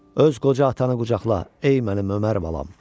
Öz qoca atanı qucaqla, ey mənim Ömər balam!